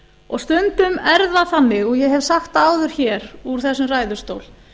og stundum er það þannig og ég hef sagt það áður hér úr þessum ræðustóli